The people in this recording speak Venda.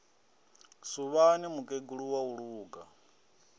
suvhani mukegulu wa u luga